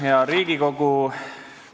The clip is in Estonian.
Hea Riigikogu!